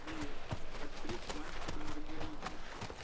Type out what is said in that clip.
привет открыть мастер и маргарита